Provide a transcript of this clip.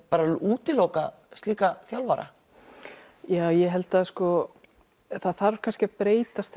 útiloka slíka þjálfara ja ég held að það þarf kannski að breytast